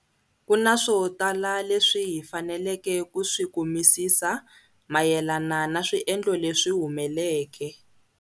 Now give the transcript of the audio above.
Ku na swo tala leswi hi faneleke ku swi kumisisa mayelana na swiendlo leswi humeleke.